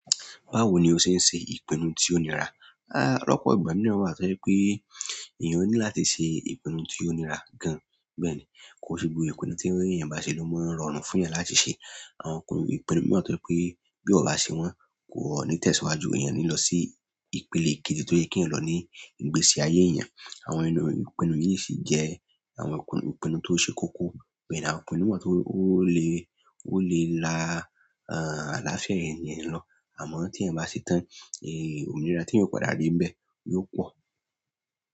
Báwo ni o ṣe ń ṣe ìpinnu tí ó nira? Ah lọ́pọ̀ ìgbà mìíràn wá tó je pé èèyàn ní láti ṣe ìpinnu tí ó nira gan. Bẹ́ẹ̀ ni, ko n se gbogbo ìpinnu tí ẹeyàn bá ṣe ló máa n rọrùn fúnyàn láti ṣe. Àwọn ìpinnu mii wá tó je pé bí eeyan o bá ṣe wọ́n, ko ni tẹ̀síwájú. Ẹeyàn o ní lọ sí ìpele kejì tó yẹ keeyan lọ ní ìgbésí ayé èèyàn. Àwọn ìpinnu yìí sì jẹ́ àwọn ìpinnu tó ṣe kókó. Bẹ́ẹ̀ ni àwọn ìpinnu mii wa tó lè, ó lè la àlàáfíà èèyàn lọ. Àmọ́ tí ẹ́eyan bá ṣe tán, ominira tí ẹeyan ò padà ri nbẹ̀ yóò pọ̀.